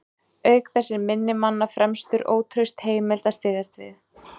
Auk þess er minni manna fremur ótraust heimild að styðjast við.